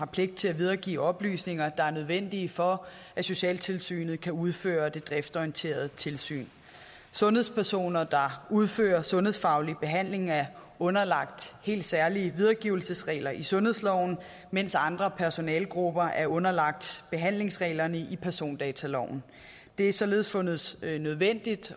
pligt til at videregive oplysninger der er nødvendige for at socialtilsynet kan udføre det driftsorienterede tilsyn sundhedspersoner der udfører sundhedsfaglig behandling er underlagt helt særlige videregivelsesregler i sundhedsloven mens andre personalegrupper er underlagt behandlingsreglerne i persondataloven det er således fundet nødvendigt